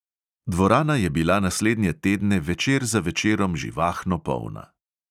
Dvorana je bila naslednje tedne večer za večerom živahno polna.